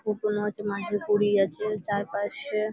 কোকোনোচ নাচের পরী আছে চারপাশে-এ--